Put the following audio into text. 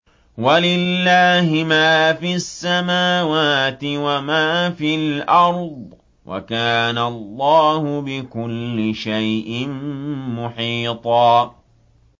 وَلِلَّهِ مَا فِي السَّمَاوَاتِ وَمَا فِي الْأَرْضِ ۚ وَكَانَ اللَّهُ بِكُلِّ شَيْءٍ مُّحِيطًا